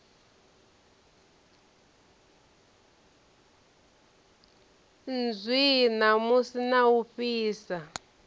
nzwii namusi na u ofhisa